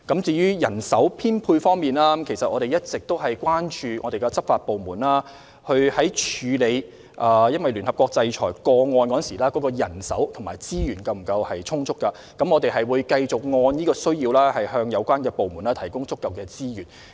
至於人手編配方面，我們一直十分關注執法部門是否有足夠人手和資源，處理聯合國制裁的個案，我們會繼續按需要向有關部門提供足夠資源。